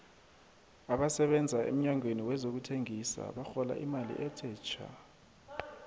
abasebenza emnyangweni wezokuthengisa barhola imali ethe thja